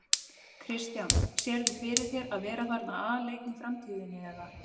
Kristján: Sérðu fyrir þér að vera þarna aleinn í framtíðinni eða?